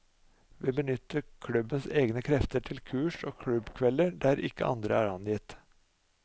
Vi benytter klubbens egne krefter til kurs og klubbkvelder der ikke andre er angitt.